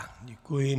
Děkuji.